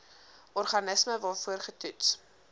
organisme waarvoor getoets